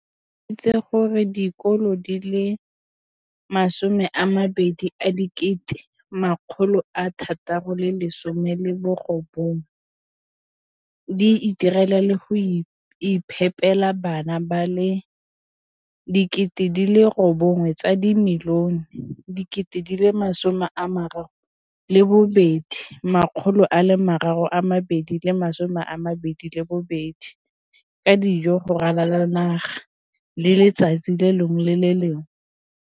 o tlhalositse gore dikolo di le 20 619 di itirela le go iphepela barutwana ba le 9 032 622 ka dijo go ralala naga letsatsi le lengwe le le lengwe.